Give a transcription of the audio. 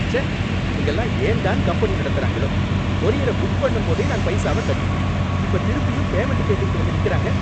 ச்சே! இவங்கெல்லாம் ஏன் தான் கம்பெனி நடத்துறாங்களோ! கொரியர புக் பண்ணும் போதே நான் பைசாவ கட்டிட்டேன் இப்ப திருப்பியும் பேமென்ட கேட்டுகிட்டு வந்து நிக்கிறாங்க.